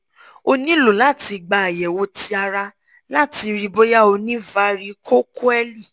o nilo lati gba ayẹwo ti ara lati rii boya o ni varicocoele